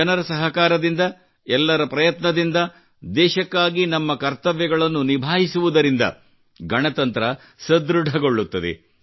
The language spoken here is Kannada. ಜನರ ಸಹಕಾರದಿಂದ ಎಲ್ಲರ ಪ್ರಯತ್ನದಿಂದ ದೇಶಕ್ಕಾಗಿ ನಮ್ಮ ಕರ್ತವ್ಯಗಳನ್ನು ನಿಭಾಯಿಸುವುದರಿಂದ ಗಣತಂತ್ರ ಸುದೃಢಗೊಳ್ಳುತ್ತದೆ